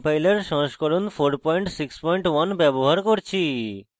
g ++ compiler সংস্করণ 461 ব্যবহার করছি